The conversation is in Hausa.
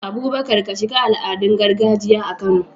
Abubakar, ka shiga al'adun gargajiya a Kano.